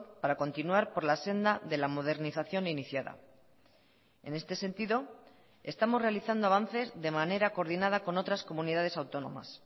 para continuar por la senda de la modernización iniciada en este sentido estamos realizando avances de manera coordinada con otras comunidades autónomas